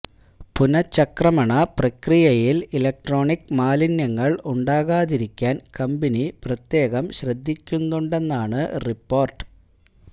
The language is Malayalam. പുനചക്രമണ പ്രക്രിയയില് ഇല്ക്ട്രോണിക് മാലിന്യങ്ങള് ഉണ്ടാകാതിരിക്കാന് കമ്പനി പ്രത്യേകം ശ്രദ്ധിക്കുന്നുണ്ടെന്നാണ് റിപ്പോർട്ട്